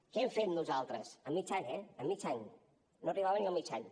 què hem fet nosaltres amb mig any eh amb mig any no arribava ni al mig any